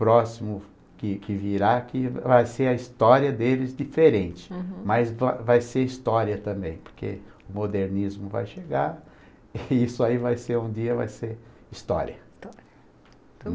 próximo que que virá, que vai ser a história deles diferente, uhum, mas vai vai ser história também, porque o modernismo vai chegar e isso aí vai ser um dia, vai ser história.